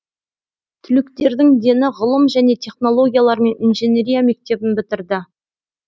түлектердің дені ғылым және технологиялар мен инженерия мектебін бітірді